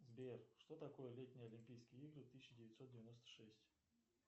сбер что такое летние олимпийские игры тысяча девятьсот девяносто шесть